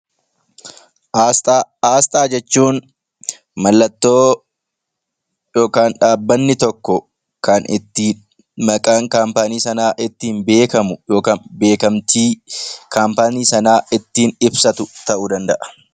Asxaa jechuun mallattoo yookaan dhaabbanni tokko kan itti maqaan dhaabbata sanaa ittiin beekamu yookaan beekamtii dhaabbatni sun ittiin ibsatu ta'uu danda'a